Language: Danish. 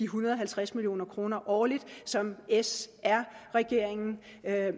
hundrede og halvtreds million kroner årligt som sr regeringen